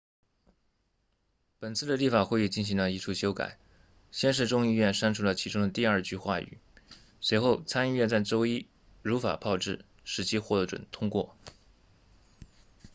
本次的立法会议进行了一处修改先是众议院删除了其中的第二句话语随后参议院在周一如法炮制使其获准通过